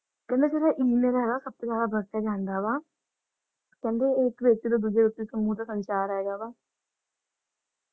ਮਤਲਬ ਜਿਵੇ E-mail ਹੈਨਾ ਸਬਤੋ ਜਾਂਦਾ ਵਰਤਿਆ ਜਾਂਦਾ ਵਾ ਤੇ ਕਹਿੰਦੇ ਇਹਇਕ -ਦੂੱਜੇ ਦੇ ਉੱਤੇ ਸਮੂਹ ਦਾ ਸੰਚਾਰ ਹੈਗਾ ਵਾ ।